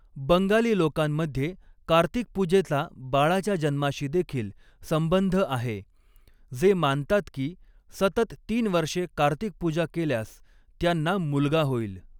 बंगाली लोकांमध्ये कार्तिकपूजेचा बाळाच्या जन्माशी देखील संंबंध आहे, जे मानतात की, सतत तीन वर्षे कार्तिकपूजा केल्यास त्यांना मुलगा होईल.